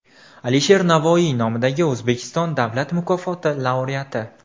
Alisher Navoiy nomidagi O‘zbekiston Davlat mukofoti laureati.